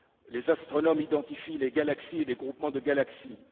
Les astronomes identifient les galaxies et les groupements de galaxies.